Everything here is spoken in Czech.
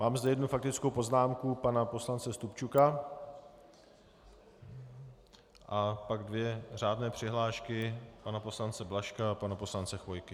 Mám zde jednu faktickou poznámku pana poslance Stupčuka a pak dvě řádné přihlášky - pana poslance Blažka a pana poslance Chvojky.